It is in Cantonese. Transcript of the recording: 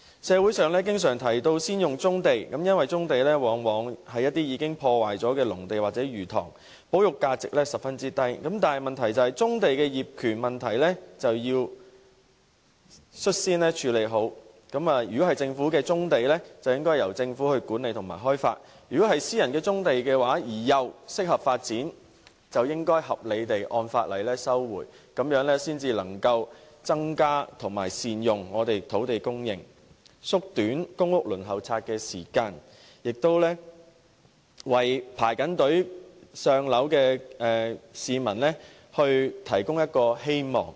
社會上經常提到先發展棕地，因為棕地往往是一些已破壞的農地或魚塘，保育價值十分低，但棕地的業權問題就要率先妥善處理，如果棕地屬於政府，便應由政府管理和開發；如果是私人的棕地而又適合發展的，就應合理地按法例收回，這樣才能增加並善用土地供應，縮短公屋輪候時間，為在輪候冊等候"上樓"的市民提供希望。